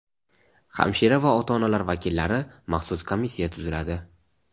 hamshira va ota-onalar vakillari) maxsus komissiya tuziladi.